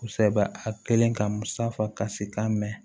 Kosɛbɛ a kelen ka musafa ka si t'a mɛn